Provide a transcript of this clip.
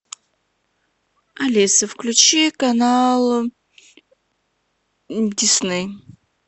алиса включи канал дисней